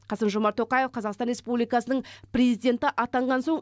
қасым жомарт тоқаев қазақстан республикасының президенті атанған соң